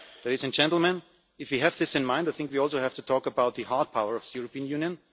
Ladies and gentlemen, if we have this in mind, I think we also have to talk about the hard power of the European Union.